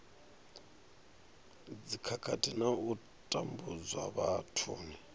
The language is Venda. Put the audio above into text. dzikhakhathi na u tambudzwa vhathuni